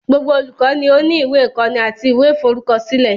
Gbogbo olùkọ́ ni ó ní ìwé ìkọ́ni àti ìwé ìforúkọsílẹ̀.